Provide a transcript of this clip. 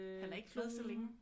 Han er ikke med så længe